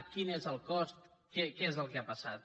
quin és el cost què és el que ha passat